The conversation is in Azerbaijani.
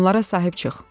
Onlara sahib çıx."